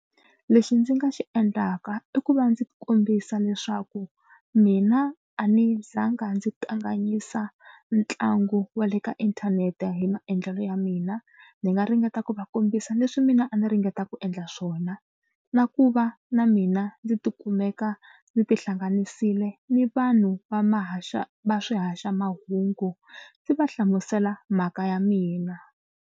Lexi ndzi nga xi endlaka i ku va ndzi kombisa leswaku mina a ni za nga ndzi kanganyisa ntlangu wa le ka inthanete hi maendlelo ya mina. Ni nga ringeta ku va kombisa leswi mina a ni ringeta ku endla swona na ku va na mina ndzi tikumeka ndzi tihlanganisile ni vanhu va ma haxa va swihaxamahungu ndzi va hlamusela mhaka ya mina.